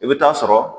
I bɛ taa sɔrɔ